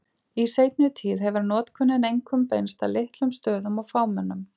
Í seinni tíð hefur notkunin einkum beinst að litlum stöðum og fámennum.